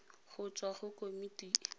go tswa go komiti e